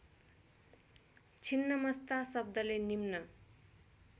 छिन्नमस्ता शब्दले निम्न